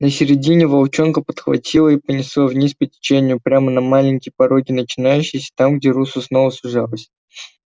на середине волчонка подхватило и понесло вниз по течению прямо на маленькие пороги начинающиеся там где русло снова сужалось